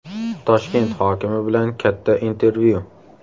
Toshkent hokimi bilan katta intervyu.